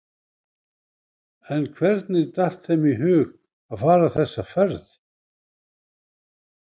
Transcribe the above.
En hvernig datt þeim í hug að fara þessa ferð?